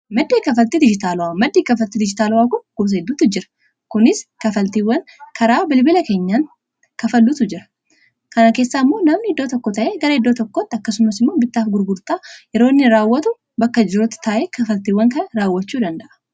maddii kafalti dijitaalwaa, maddii kafaltii dijitaalwaa kun gosa heddutu jira kunis kafaltiiwwan karaa bilbila keenyaan kafaluuf gargaaratu jira kana keessaa immoo namni iddoo tokko taa'e gara iddoo tokkotti akkasumas immoo bittaaf gurgurtaa yeroonni raawwatu bakka jiru taa'ee kafaltiiwwan kana raawwachuu danda'a.